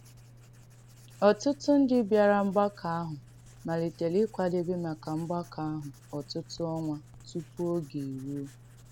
Ọ̀tụ̀tụ̀ ndí bị̀arà mgbàkọ̀ àhụ̄ malìtèrè ịkwàdèbé maka mgbàkọ̀ àhụ̄ ọ̀tụ̀tụ̀ ọnwà tupu oge eruo.